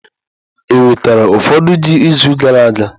Ewetara ụfọdụ ji izu gara aga?